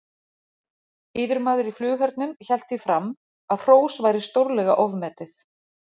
Yfirmaður í flughernum hélt því fram að hrós væri stórlega ofmetið.